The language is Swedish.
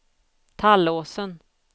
Tallåsen